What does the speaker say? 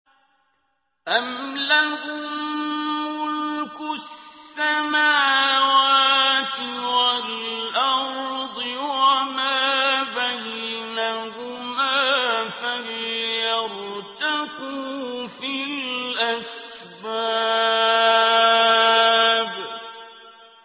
أَمْ لَهُم مُّلْكُ السَّمَاوَاتِ وَالْأَرْضِ وَمَا بَيْنَهُمَا ۖ فَلْيَرْتَقُوا فِي الْأَسْبَابِ